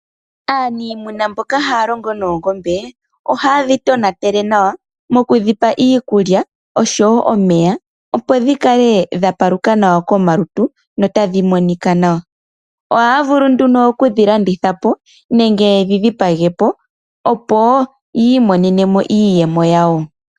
Aanimuna mboka haya longo noongombe ohaye dhi tonatele nawa mokudhipa iikulya noshowo omeya, opo dhi kale dhapaluka nawa komalutu notadhi monika nawa. Ohaya vulu nduno okudhi landithapo nenge yedhi dhipagepo opo yi imonenemo iiyemo yawo.